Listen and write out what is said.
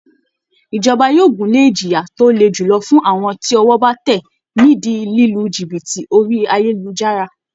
Ìjọba yóò gúnlè ìjìyà tó le julọ fún àwọn tí ọwọ́ bá tẹ̀ ni ìdí lílu jìbìtì orí ayélujára